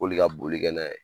K'olu ka bolikɛ n'a ye